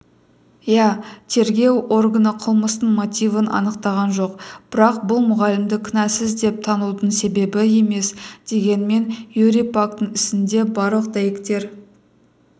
иә тергеу органы қылмыстың мотивін анықтаған жоқ бірақ бұл мұғалімді кінәсіз деп танудың себебі емес дегенмен юрий пактің ісінде барлық дәйектер